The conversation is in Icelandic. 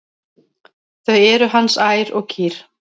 Þau eru hans ær og kýr.